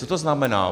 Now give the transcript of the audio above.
Co to znamená?